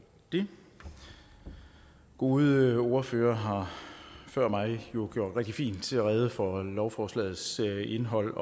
det gode ordførere har før mig jo gjort rigtig fint rede for lovforslagets indhold